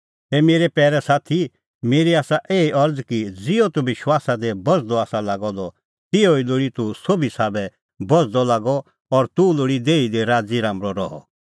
ए मेरै पैरै साथी मेरी आसा एही अरज़ कि ज़िहअ तूह विश्वासा दी बझ़दअ आसा लागअ द तिहअ ई लोल़ी तूह सोभी साबै बझ़दअ लागअ और तूह लोल़ी देही दी राज़ीराम्बल़अ रहअ